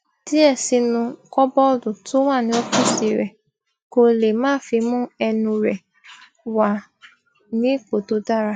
díẹ sínú kọbọọdù tó wà ní ófíìsì rè kó lè máa fi mú ẹnu rẹ wà ní ipò tó dára